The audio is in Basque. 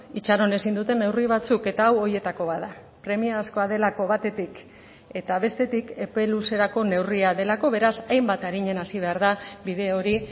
itxaron ezin duten neurri batzuk eta hau horietako bat da premiazkoa delako batetik eta bestetik epe luzerako neurria delako beraz hainbat arinen hasi behar da bide hori